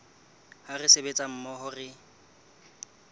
ha re sebetsa mmoho re